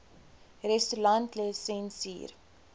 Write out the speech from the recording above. restaurantlisensier